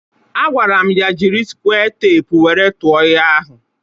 A gwara m ya jiri sque tepu wéré tụọ nha ahu